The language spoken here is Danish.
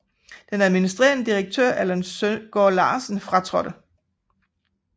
Den administrerende direktør Allan Søgaard Larsen fratrådte